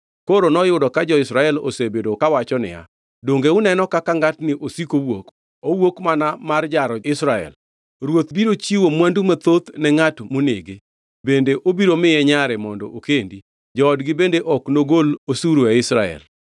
Koro noyudo ka jo-Israel osebedo kawacho niya, “Donge uneno kaka ngʼatni osiko wuok? Owuok, mana mar jaro, Israel. Ruoth biro chiwo mwandu mathoth ne ngʼat monege. Bende obiro miye nyare mondo okendi, joodgi bende ok nogol osuru e Israel.”